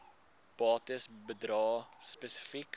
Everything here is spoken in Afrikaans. bates bedrae spesifiek